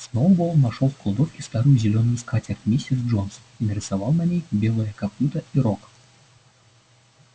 сноуболл нашёл в кладовке старую зелёную скатерть миссис джонс и нарисовал на ней белое копыто и рог